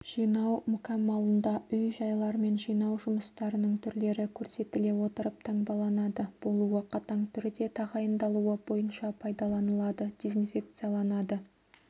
жинау мүкәммалында үй-жайлар мен жинау жұмыстарының түрлері көрсетіле отырып таңбаланады болуы қатаң түрде тағайындалуы бойынша пайдаланылады дезинфекцияланады